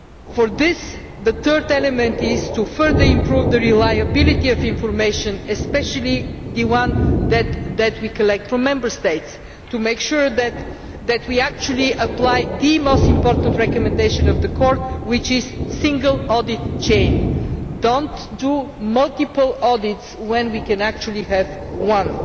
For this, the third element is to further improve the reliability of information, especially that which we collect from Member States, to make sure that we actually apply the most important recommendation of the Court which is a single audit chain do not do multiple audits when we can actually have one.